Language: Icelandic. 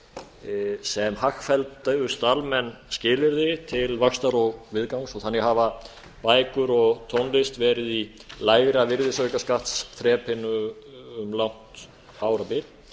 tónlistarútgáfu sem hagfelldust almenn skilyrði til vaxtar og viðgangs þannig hafa bækur og tónlist verið í lægra virðisaukaskattsþrepinu um langt árabil